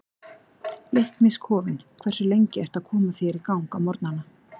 Leiknis kofinn Hversu lengi ertu að koma þér í gang á morgnanna?